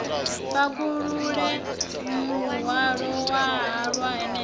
pakulule muhwalo wa halwa hanefho